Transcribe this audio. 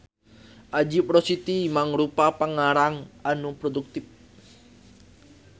Ajip Rosidi mangrupa pangarang anu produktif.